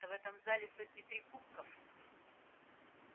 да в этом зале сотни три кубков